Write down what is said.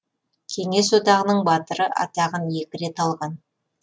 кеңес одағының батыры атағын екі рет алған